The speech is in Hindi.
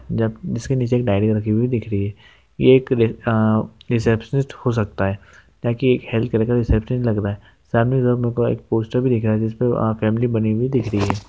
जब जिसके नीचे की डायरी रखी हुई दिख रही है यह एक रि आ रीसेप्शनिस्ट हो सकता है ता कि एक हेल्प लग रहा है सामने एक पोस्टार भी दिख रहा है जिस पर वहां फैमिली बनी हुई दिख रही है।